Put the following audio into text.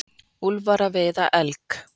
Úlfar að veiða elg.